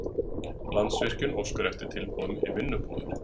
Landsvirkjun óskar eftir tilboðum í vinnubúðir